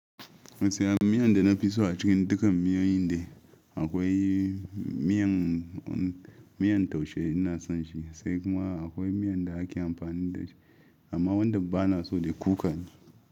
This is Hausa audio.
Gaskiya miyan da na fi so a cikin dukkan miyoyin dai akwai miyan, miyan taushe ina son shi. Sai kuma akwai miyan da ake amfani da shi amma wanda ba na so dai kukane.